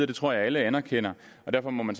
det tror jeg alle erkender derfor må man